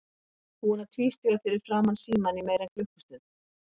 Hann er búinn að tvístíga fyrir framan símann í meira en klukkustund.